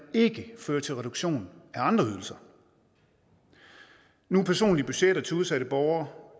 ikke fører til reduktion af andre ydelser nu er personlige budgetter til udsatte borgere